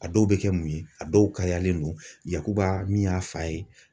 A dɔw bɛ kɛ mun ye, a dɔw kariyalen don, yakuba min y'a fa ye.